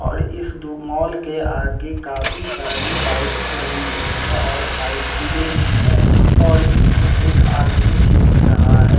और इस दो मॉल के आगे काफी सारी बाइक्स लगी हुई है और साइकिलें भी हैं और इसमें एक आदमी भी दिख रहा है।